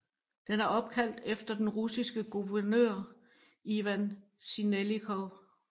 Den er opkaldt efter den russiske guvernør Ivan Sinelnikov